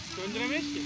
Söndürə bilmərik ki.